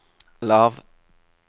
lav